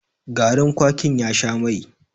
gari kwakin ya Sha Mai